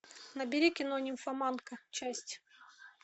набери кино нимфоманка часть